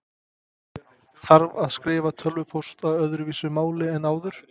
Þarf að skrifa tölvupóst á öðruvísi máli en áður?